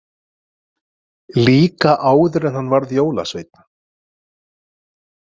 Líka áður en hann varð jólasveinn.